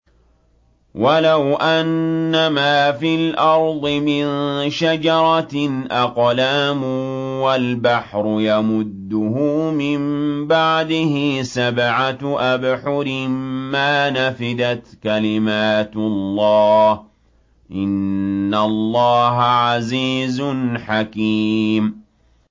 وَلَوْ أَنَّمَا فِي الْأَرْضِ مِن شَجَرَةٍ أَقْلَامٌ وَالْبَحْرُ يَمُدُّهُ مِن بَعْدِهِ سَبْعَةُ أَبْحُرٍ مَّا نَفِدَتْ كَلِمَاتُ اللَّهِ ۗ إِنَّ اللَّهَ عَزِيزٌ حَكِيمٌ